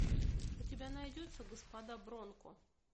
у тебя найдется господа бронко